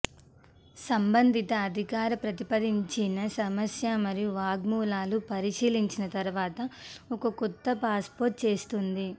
సంబంధిత అధికార ప్రతిపాదించిన సమస్య మరియు వాంగ్మూలాలు పరిశీలించిన తరువాత ఒక కొత్త పాస్పోర్ట్ చేస్తుంది